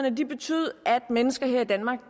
mennesker her i danmark